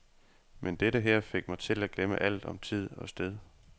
Men dette her fik mig til at glemme alt om tid og sted.